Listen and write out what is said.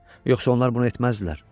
Yoxsa onlar bunu etməzdilər.